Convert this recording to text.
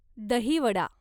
दही वडा